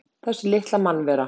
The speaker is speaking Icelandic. Þessi litla mannvera!